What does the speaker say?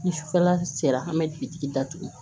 Ni sufɛla sera an bɛ bitigi datugu